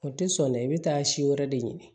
O tɛ sɔn dɛ i bɛ taa si wɛrɛ de ɲini